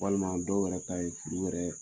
Walima dɔw yɛrɛ ta ye furu wɛrɛɛ